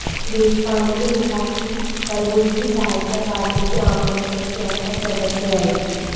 देशपांडे ने लिखा कि कलबुर्गी साहित्य अकादमी के आम परिषद के अंत तक सदस्य रहे